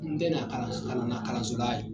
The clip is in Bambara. N tɛ kalan na kalanso dayɛlɛ.